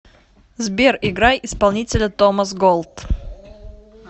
сбер играй исполнителя томас голд